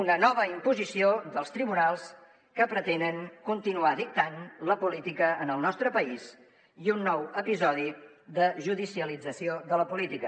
una nova imposició dels tribunals que pretenen continuar dictant la política en el nostre país i un nou episodi de judicialització de la política